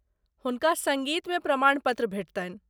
हुनका सङ्गीतमे प्रमाणपत्र भेटतनि।